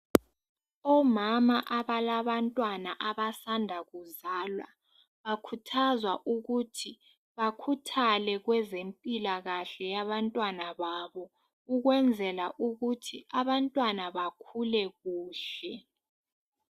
Omama abalabantwana abasanda kuzalwa bakhuthazwa ukuthi bakhuthale kwezempilakahle yabantwana babo ukwenzela ukuthi abantwana bakhule kuhle.